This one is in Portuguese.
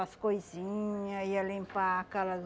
As coisinha, ia limpar aquelas...